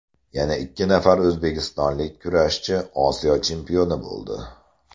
Yana ikki nafar o‘zbekistonlik kurashchi Osiyo chempioni bo‘ldi.